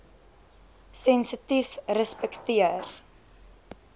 sensitiefrespekteer